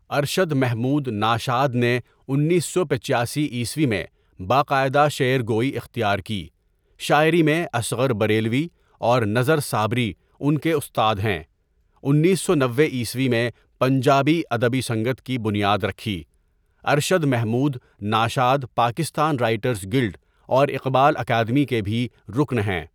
ارشد محمود ناشاؔد نے انیس سو پچاسی عیسوی میں باقاعدہ شعر گوئی اختیار کی شاعری میں اصغر بریلوی اور نذر صابری ان کے استاد ہیں انیس سو نوے عیسوی میں پنجابی ادبی سنگت کی بنیاد رکھی ارشد محمود ناشاؔد پاکستان رائٹرز گلڈاوراقبال اکادمی کے بھی رکن ہیں.